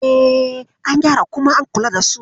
E, an gyara kuma an kula da su.